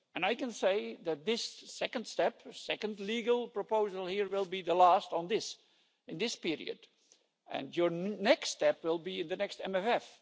I can say that this second step, the second legal proposal here, will be the last on this in this period, and your next step will be in the next MFF.